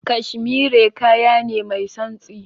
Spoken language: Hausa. Cashmere kaya ne mai santsi.